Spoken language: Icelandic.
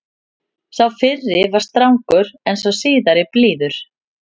Sá fyrri er strangur en sá síðari blíður.